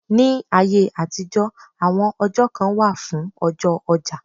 Ní ayé àtijọ́, àwọn ọjọ́ kan wà fún ọjọ́ ọjà.